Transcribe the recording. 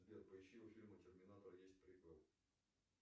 сбер поищи у фильма терминатор есть приквел